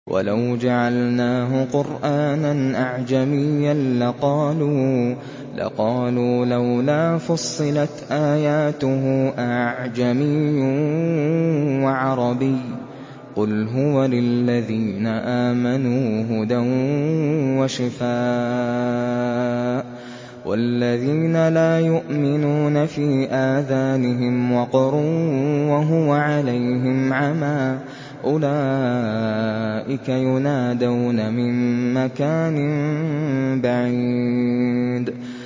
وَلَوْ جَعَلْنَاهُ قُرْآنًا أَعْجَمِيًّا لَّقَالُوا لَوْلَا فُصِّلَتْ آيَاتُهُ ۖ أَأَعْجَمِيٌّ وَعَرَبِيٌّ ۗ قُلْ هُوَ لِلَّذِينَ آمَنُوا هُدًى وَشِفَاءٌ ۖ وَالَّذِينَ لَا يُؤْمِنُونَ فِي آذَانِهِمْ وَقْرٌ وَهُوَ عَلَيْهِمْ عَمًى ۚ أُولَٰئِكَ يُنَادَوْنَ مِن مَّكَانٍ بَعِيدٍ